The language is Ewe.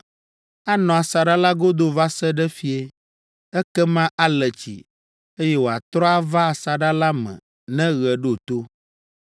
anɔ asaɖa la godo va se ɖe fiẽ, ekema ale tsi, eye wòatrɔ ava asaɖa la me ne ɣe ɖo to.